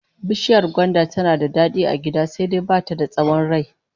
Bishiyar gwanda tana da dadi a gida, sai dai ba ta da tsawon rai